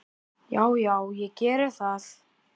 Já, já, ég gerði það.